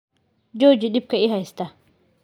Jooji dhibka i haysta.